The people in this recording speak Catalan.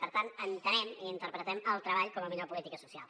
per tant entenem i interpretem el treball com a millor política social